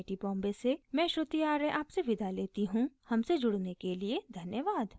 iit iit टी बॉम्बे से मैं श्रुति आर्य आपसे विदा लेती हूँ हमसे जुड़ने के लिए धन्यवाद